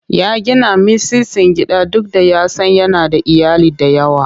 Ya gina mitsitsin gida duk da ya san yana da iyali da yawa.